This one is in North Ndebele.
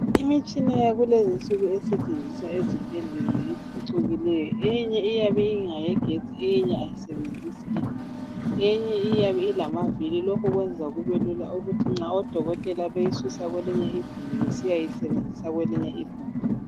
Imitshina yakulezi inzuku esetshenziswa ezibhedlela ngephucukileyo eyinye yabe ingeyegetsi eyinye ayisebenzisi igetsi ilamaviri lokhu kuyenza kube lula ukuthi nxa odokotela beyisusa kwelinye igumbi besiyayisebenzisa kwelinye igumbi.